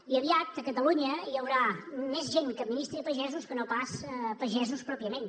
i aviat a catalunya hi haurà més gent que administri pagesos que no pas pagesos pròpiament